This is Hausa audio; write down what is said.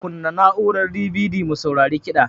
Kunna mana na'urar DVD mu saurari kida